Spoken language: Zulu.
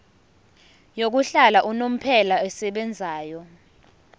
yokuhlala unomphela esebenzayo